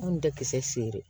Anw tɛ kisɛ feere